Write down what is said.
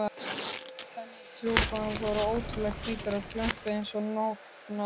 Tennur trúboðans voru ótrúlega hvítar og glömpuðu einsog nótnaborð.